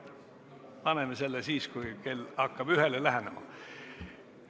Paneme selle ettepaneku hääletusele siis, kui kell hakkab ühele lähenema.